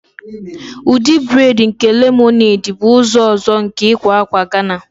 Ụdị braid nke lemonade bụ ụdị ọzọ nke ịkwa akwa Ghana.